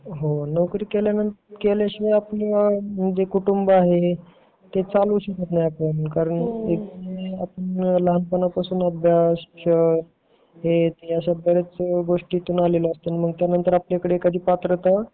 हो म्हणजे नोकरी केल्याशिवाय म्हणजे आपले कुटुंब आहे ते चालवू शकत नाही आपण कारण आपण लहापणापासून अभ्यास शहर अश्या बऱ्याच गोष्टींमधून आलेलो असतो मग त्यानंतर आपल्याकडे एखादी पात्रता